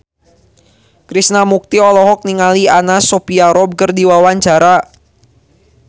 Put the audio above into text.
Krishna Mukti olohok ningali Anna Sophia Robb keur diwawancara